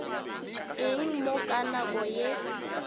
eng mo ka nako ye